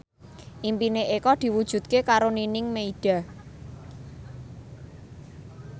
impine Eko diwujudke karo Nining Meida